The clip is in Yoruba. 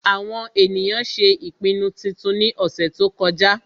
àwọn ènìyàn ṣé ìpinnu titun ní ọ̀sẹ̀ tó kọjá